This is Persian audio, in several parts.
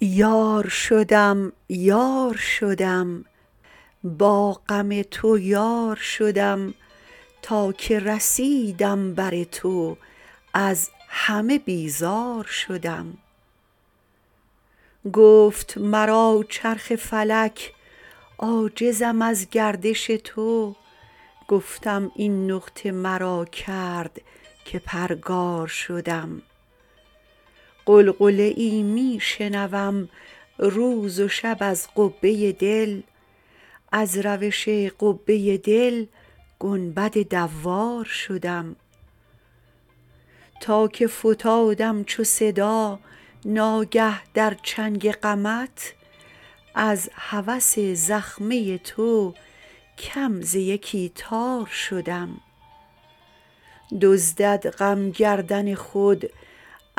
یار شدم یار شدم با غم تو یار شدم تا که رسیدم بر تو از همه بیزار شدم گفت مرا چرخ فلک عاجزم از گردش تو گفتم این نقطه مرا کرد که پرگار شدم غلغله می شنوم روز و شب از قبه دل از روش قبه دل گنبد دوار شدم تا که فتادم چو صدا ناگه در چنگ غمت از هوس زخمه تو کم ز یکی تار شدم دزدد غم گردن خود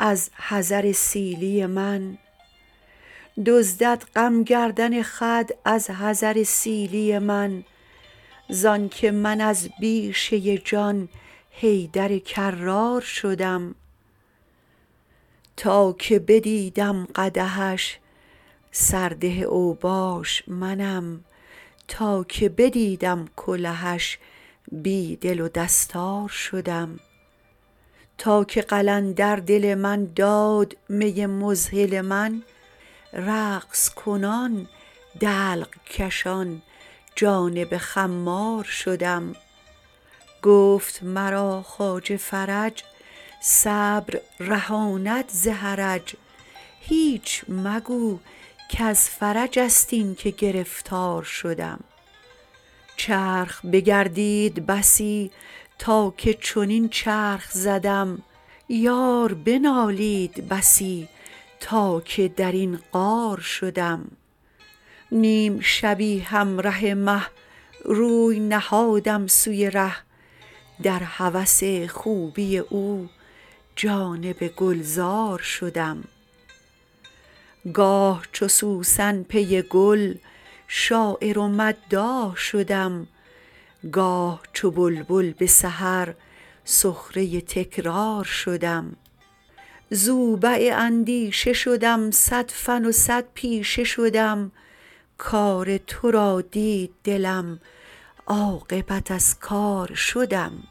از حذر سیلی من زانک من از بیشه جان حیدر کرار شدم تا که بدیدم قدحش سرده اوباش منم تا که بدیدم کلهش بی دل و دستار شدم تا که قلندر دل من داد می مذهل من رقص کنان دلق کشان جانب خمار شدم گفت مرا خواجه فرج صبر رهاند ز حرج هیچ مگو کز فرج ست اینک گرفتار شدم چرخ بگردید بسی تا که چنین چرخ زدم یار بنالید بسی تا که در این غار شدم نیم شبی همره مه روی نهادم سوی ره در هوس خوبی او جانب گلزار شدم گاه چو سوسن پی گل شاعر و مداح شدم گاه چو بلبل به سحر سخره تکرار شدم زوبع اندیشه شدم صد فن و صد پیشه شدم کار تو را دید دلم عاقبت از کار شدم